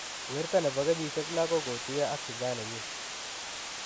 Werto ne bo kenyisiek 6 ko kotuiyo ak shujaa nenyi,